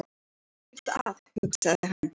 Vonandi er ekkert að, hugsaði hann.